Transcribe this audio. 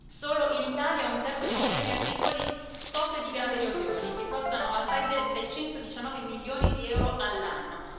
Solo in Italia, un terzo dei terreni agricoli soffre di gravi erosioni che costano al paese 619 milioni di euro all'anno.